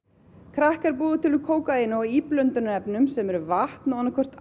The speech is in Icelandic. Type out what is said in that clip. krakk er búið til úr kókaíni og íblöndunarefnum sem eru vatn og annað hvort